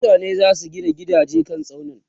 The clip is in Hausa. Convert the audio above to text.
mutane zasu Gina gidaje kan tsaunuka